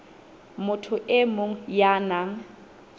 motho e mong ya nang